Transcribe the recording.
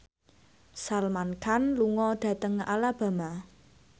Salman Khan lunga dhateng Alabama